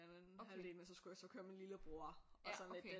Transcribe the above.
Den anden halvdel men så skulle jeg så køre min lillebror og sådan lidt den